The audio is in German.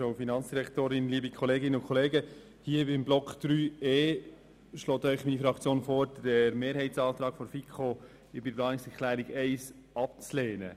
Beim Block 3.e schlägt Ihnen meine Fraktion vor, den Mehrheitsantrag der FiKo zu Planungserklärung 1 abzulehnen.